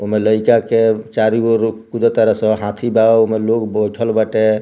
ओमे लइका के चारो अउरु कुदत तार सन हाथी बा ओमे लोग बइठल बाटे।